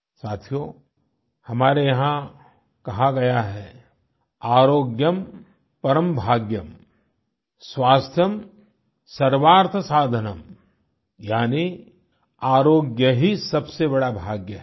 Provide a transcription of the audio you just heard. साथियों हमारे यहाँ कहा गया है आर्योग्यम परं भागय्म स्वास्थ्यं सर्वार्थ साधनं यानि आरोग्य ही सबसे बड़ा भाग्य है